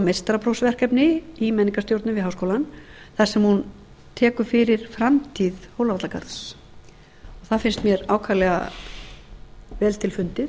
meistaraprófsverkefni í menningarstjórnun við háskólann þar sem hún tekur fyrir framtíð hólavallagarð það finnst mér ákaflega vel til fundið